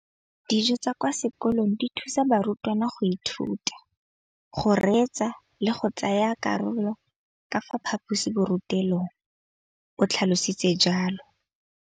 Dijo tsa kwa sekolong dithusa barutwana go ithuta, go reetsa le go tsaya karolo ka fa phaposiborutelong, o tlhalositse jalo.